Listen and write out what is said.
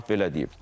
Tramp belə deyib.